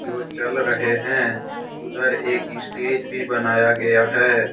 जो चल रहे हैं उधर एक स्टेज भी बनाया गया है।